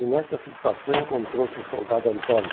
E nesta situação encontrou-se o soldado Antônio.